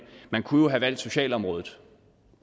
man kunne jo have valgt socialområdet